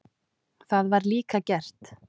Það var líka gert.